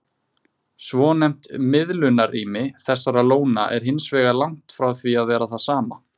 Svonefnt miðlunarrými þessara lóna er hins vegar langt frá því að vera það sama.